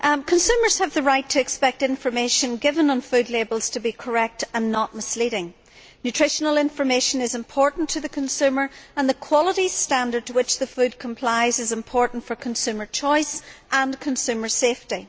Consumers have the right to expect information given on food labels to be correct and not misleading. Nutritional information is important to the consumer and the quality standard with which the food complies is important for consumer choice and for consumer safety.